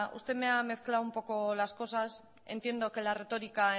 usted me ha mezclado un poco las cosas entiendo que la retórica